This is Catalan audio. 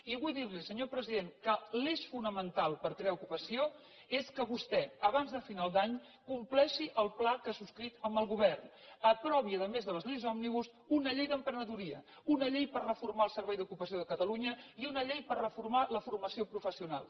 i vull dir li senyor president que l’eix fonamental per crear ocupació és que vostè abans de final d’any compleixi el pla de ha subscrit amb el govern aprovi a més de les lleis òmnibus una llei d’emprenedoria una llei per reformar el servei d’ocupació de catalunya i una llei per reformar la formació professional